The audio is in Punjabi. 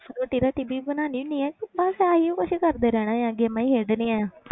ਰੋਟੀ ਰਾਟੀ ਵੀ ਬਣਾ ਲੈਂਦੀ ਹੈ ਕਿ ਬਸ ਆਹੀ ਕੁਛ ਕਰਦੇ ਰਹਿਣਾ ਆਂ games ਹੀ ਖੇਡਣੀਆਂ ਆਂ